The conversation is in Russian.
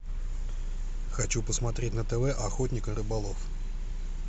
хочу посмотреть на тв охотник и рыболов